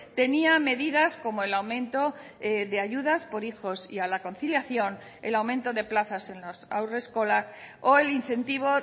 tenía medidas como el aumento de ayudas por hijos y a la conciliación el aumento de plazas en las haurreskolak o el incentivo